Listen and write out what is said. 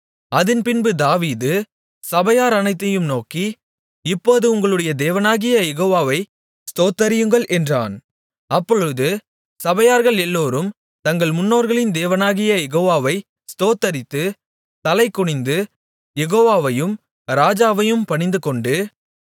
அதின்பின்பு தாவீது சபையார் அனைத்தையும் நோக்கி இப்போது உங்களுடைய தேவனாகிய யெகோவாவை ஸ்தோத்தரியுங்கள் என்றான் அப்பொழுது சபையார்கள் எல்லோரும் தங்கள் முன்னோர்களின் தேவனாகிய யெகோவாவை ஸ்தோத்தரித்து தலை குனிந்து யெகோவாவையும் ராஜாவையும் பணிந்துகொண்டு